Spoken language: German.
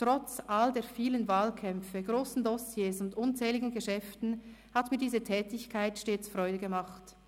Trotz all den vielen Wahlkämpfen, grossen Dossiers und unzähligen Geschäften hat mir diese Tätigkeit stets Freude gemacht.